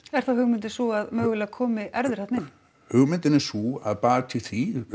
er þá hugmyndin sú að mögulega komi erfðir þarna inn hugmyndin er sú að baki því